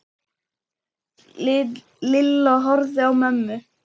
Lilla horfði á mömmu.